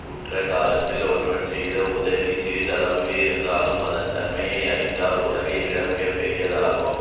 உற்ற காலத்தில் ஒருவன் செய்த உதவி சிறிதளவாக இருந்தாலும் அதன் தன்மையை அறிந்தால் உலகைவிட மிக பெரிதாகும்